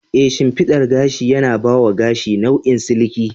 Ee, shimfiɗar gashi yana ba wa gashi nau'in siliki.